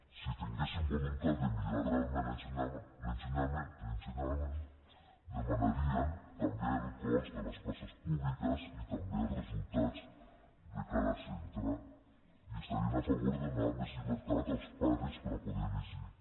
sí tinguéssim voluntat de millorar realment l’ensenyament demanarien també el cost de les places públiques i també el resultats de cada centre i estarien a favor de donar més llibertat als pares per a poder elegir